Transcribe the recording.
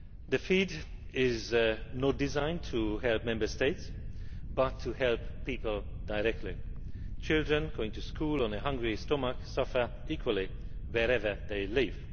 The FEAD is not designed to help Member States, but to help people directly. Children going to school on a hungry stomach suffer equally, wherever they live.